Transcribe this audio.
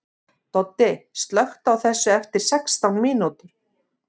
Doddi, slökktu á þessu eftir sextán mínútur.